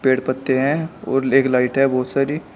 और पत्ते है और लेग लाइट है बहोत सारी।